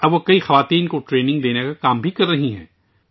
اب، وہ کئی عورتوں کو تربیت دینے کا کام بھی کر رہی ہیں